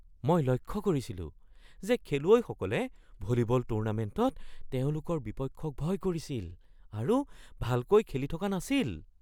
মই লক্ষ্য কৰিছিলো যে খেলুৱৈসকলে ভলীবল টুৰ্ণামেণ্টত তেওঁলোকৰ বিপক্ষক ভয় কৰিছিল আৰু ভালকৈ খেলি থকা নাছিল।